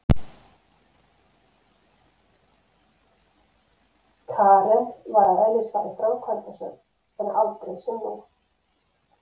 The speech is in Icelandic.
Karen var að eðlisfari framkvæmdasöm en aldrei sem nú.